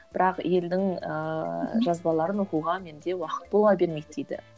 бірақ елдің ыыы жазбаларын оқуға менде уақыт бола бермейді дейді